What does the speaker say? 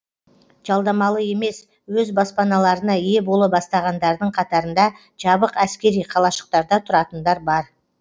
жалдамалы емес өз баспаналарына ие бола бастағандардың қатарында жабық әскери қалашықтарда тұратындар бар